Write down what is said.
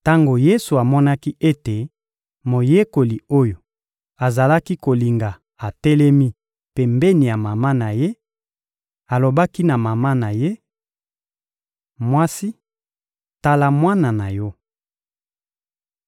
Tango Yesu amonaki ete moyekoli oyo azalaki kolinga atelemi pembeni ya mama na Ye, alobaki na mama na Ye: — Mwasi, tala mwana na yo!